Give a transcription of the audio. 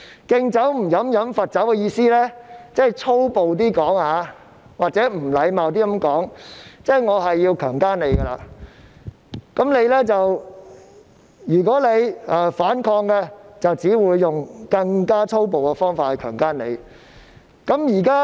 "敬酒不喝喝罰酒"的意思，如果說得較粗暴或不禮貌一點，即是指"我要強姦你，如果你反抗，我只會用更粗暴的方法強姦你"。